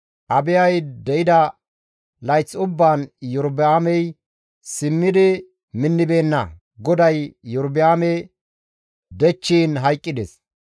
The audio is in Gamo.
Abiyay de7ida layth ubbaan Iyorba7aamey simmidi minnibeenna; GODAY Iyorba7aame dechchiin hayqqides.